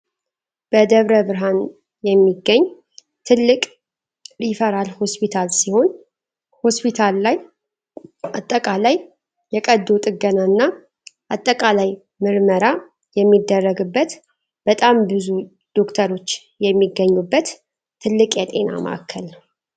በደብረ ብርሃን የሚገኝ ትልቅ ሪፈራል ሆስፒታል ሲሆን ሆስፒታል ላይ አጠቃላይ የቀዶ ጥገናና አጠቃላይ ምርመራ የሚደረግበት በጣም ብዙ ዶክተሮች የሚገኙበት ትልቅ የጤና ማዕከል ነው።